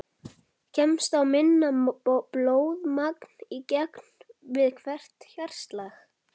Kemst þá minna blóðmagn í gegn við hvert hjartaslag.